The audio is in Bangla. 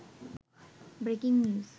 breaking news